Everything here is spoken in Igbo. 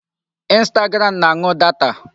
Instagram na-anu data.